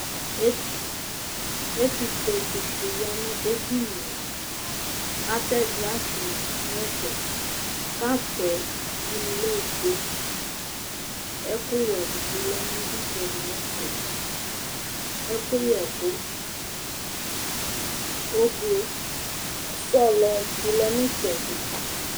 Ɛtuƒuetsi ɖi ya ŋu ɛɖìníe Atɛ glass ɖíni ŋu ɛfɛ Cup ɖíni lɛ ɔfʋe Ɛku wɛ ɖi bi lɛ ŋu itsɛɖi ŋu ɛfɛ Ɛkuyɛku ʋblue, sɔlɔ ɖi lɛ itsɛɖi